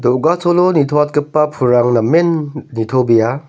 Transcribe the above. do·gacholo nitoatgipa pulrang namen nitobea.